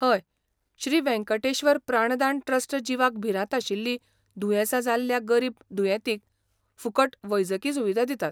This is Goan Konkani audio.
हय, श्री वेंकटेश्वर प्राणदान ट्रस्ट जिवाक भिरांत आशिल्लीं दुयेंसां जाल्ल्या गरीब दुयेंतींक फुकट वैजकी सुविधा दिता.